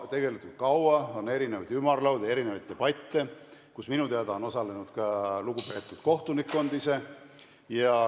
On toimunud kõiksugu ümarlaudu ja debatte, kus minu teada on osalenud ka lugupeetud kohtunikkond ise.